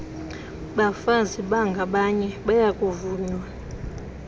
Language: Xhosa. bafazi bangabanye bayakuvunywa